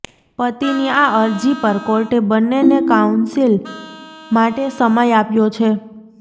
પતિની આ અરજી પર કોર્ટે બંને ને કાઉન્સિલ માટે સમય આપ્યો છે